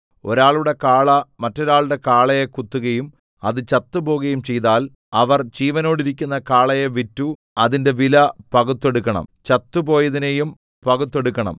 ഒരാളുടെ കാള മറ്റൊരാളുടെ കാളയെ കുത്തുകയും അത് ചത്തുപോകുകയും ചെയ്താൽ അവർ ജീവനോടിരിക്കുന്ന കാളയെ വിറ്റു അതിന്റെ വില പകുത്തെടുക്കണം ചത്തുപോയതിനെയും പകുത്തെടുക്കണം